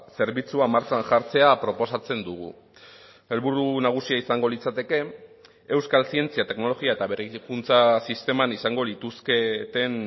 zerbitzua martxan jartzea proposatzen dugu helburu nagusia izango litzateke euskal zientzia teknologia eta berrikuntza sisteman izango lituzketen